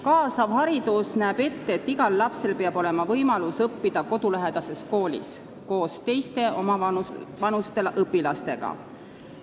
Kaasav haridus näeb ette, et igal lapsel peab olema võimalus õppida kodulähedases koolis koos teiste omavanuste õpilastega.